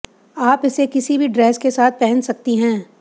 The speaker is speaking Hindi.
आप इसे किसी भी ड्रेस के साथ पहन सकती हैं